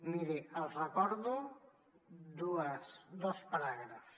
miri els recordo dos paràgrafs